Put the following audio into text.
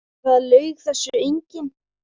Það laug þessu enginn.